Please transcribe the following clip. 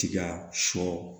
Tiga sɔ